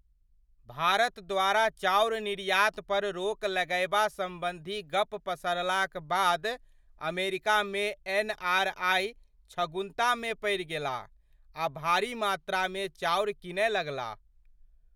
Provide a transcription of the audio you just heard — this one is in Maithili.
भारत द्वारा चाउर निर्यात पर रोक लगएबा सम्बन्धी गप्प पसरलाक बाद अमेरिकामे एनआरआइ छगुन्तामे पड़ि गेलाह आ भारी मात्रामे चाउर कीनय लगलाह।